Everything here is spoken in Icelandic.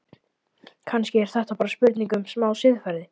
Kannski er þetta bara spurning um smá siðferði?